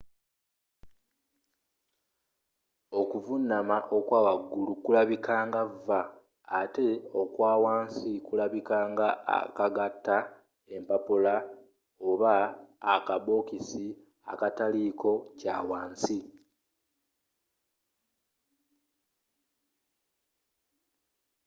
okuvunama okwawagulu kulabikanga v ate okwawansi kulinga akagata empapula oba akabokisi akataliiko kyawansi